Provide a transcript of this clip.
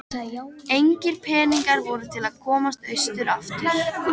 Engir peningar voru til að komast austur aftur.